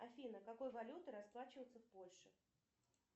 афина какой валютой расплачиваться в польше